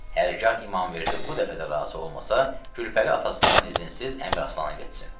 Hərgah İmamverdi bu dəfə də razı olmasa, Gülpəri atasından izinsiz Əmiraslana getsin.